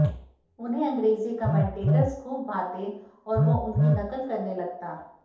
उन्हें अंग्रेजी कमेंटटर्स खूब भाते और वो उनकी नकल करने लगता